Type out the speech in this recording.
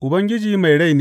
Ubangiji mai rai ne!